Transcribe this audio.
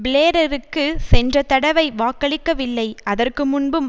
பிளேரருக்கு சென்ற தடவை வாக்களிக்கவில்லை அதற்கு முன்பும்